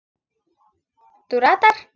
Þú ratar?